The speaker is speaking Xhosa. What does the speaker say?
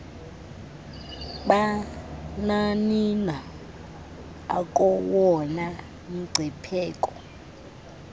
bamanina akowona mngcipheko